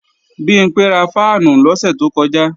Bimpé ra fáànù lọ́sẹ̀ tó kọjá